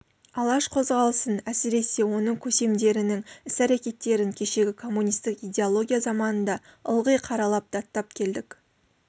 алаш қозғалысын әсіресе оның көсемдерінің іс-әрекеттерін кешегі коммунистік идеология заманында ылғи қаралап даттап келдік